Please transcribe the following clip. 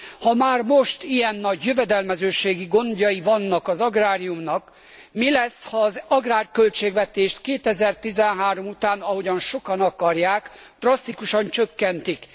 Ha már most ilyen nagy jövedelmezőségi gondjai vannak az agráriumnak, mi lesz, ha az agrárköltségvetést 2013 után, ahogyan sokan akarják, drasztikusan csökkentik.